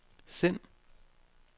send